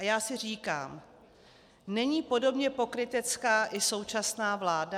A já si říkám: Není podobně pokrytecká i současná vláda?